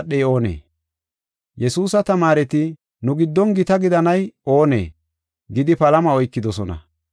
Yesuusa tamaareti, “Nu giddon gita gidanay oonee?” gidi palama oykidosona.